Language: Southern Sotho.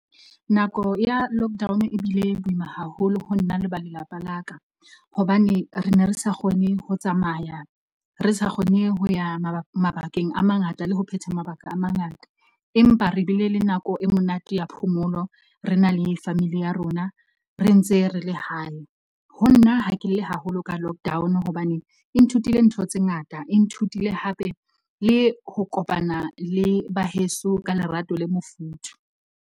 Nako ya lockdown e bile boima haholo ho nna le ba lelapa la ka. Hobane re ne re sa kgone ho tsamaya, re sa kgone ho ya mabakeng a mangata, le ho phetha mabaka a mangata. Empa re bile le nako e monate ya phomolo. Re na le family ya rona re ntse re le hae. Ho nna ha ke lle haholo ka lockdown hobane e nthutile ntho tse ngata e nthutile hape le ho kopana le ba heso ka lerato le mofuthu.